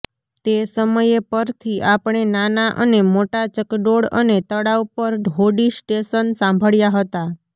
તે સમયે પરથી આપણે નાના અને મોટા ચકડોળ અને તળાવ પર હોડી સ્ટેશન સાંભળ્યા હતા